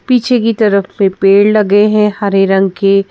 पीछे की तरफ में पेड़ लगे हैं हरे रंग के।